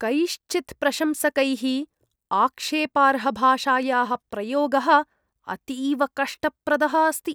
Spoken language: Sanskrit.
कैश्चित् प्रशंसकैः आक्षेपार्हभाषायाः प्रयोगः अतीव कष्टप्रदः अस्ति।